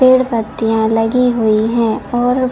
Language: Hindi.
पेड़ पत्तिया लगी हुई है और--